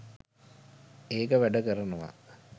ඒක වැඩ කරනවා